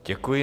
Děkuji.